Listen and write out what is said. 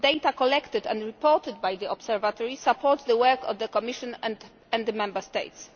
the data collected and reported by the Observatory supports the work of the Commission and the Member States.